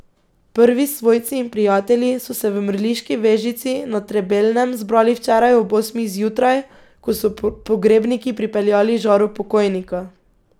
Prvi svojci in prijatelji so se v mrliški vežici na Trebelnem zbrali včeraj ob osmih zjutraj, ko so pogrebniki pripeljali žaro pokojnika.